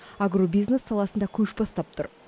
агробизнес саласында көш бастап тұр